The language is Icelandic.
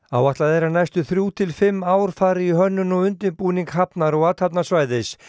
áætlað er að næstu þrjú til fimm ár fari í hönnun og undirbúning hafnar og athafnasvæðis